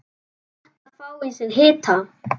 Gott að fá í sig hita.